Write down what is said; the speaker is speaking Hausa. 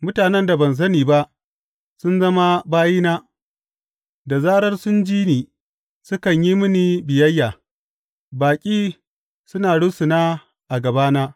Mutanen da ban sani ba sun zama bayina, da zarar sun ji ni, sukan yi mini biyayya; baƙi suna rusuna a gabana.